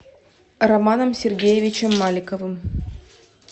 романом сергеевичем маликовым